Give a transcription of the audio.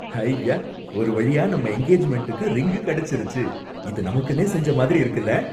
ஹய்யா! ஒரு வழியா நம்ம எங்கேஜ்மெண்ட்டுக்கு ரிங் கிடைச்சிருச்சு, இது நமக்குன்னே செஞ்ச மாதிரி இருக்குல?